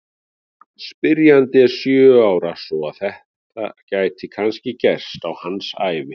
Spyrjandinn er sjö ára svo að þetta gæti kannski gerst á hans ævi!